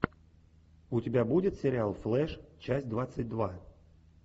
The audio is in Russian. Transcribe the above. у тебя будет сериал флэш часть двадцать два